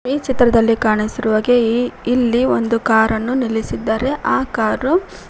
ಈ ಚಿತ್ರದಲ್ಲಿ ಕಾಣಿಸಿರುವಾಗೆ ಇಲ್ಲಿ ಒಂದು ಕಾರನ್ನು ನಿಲ್ಲಿಸಿದ್ದಾರೆ ಆ ಕಾರು--